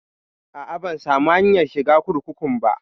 A'a, ban samu hanyar shiga kurkukun ba.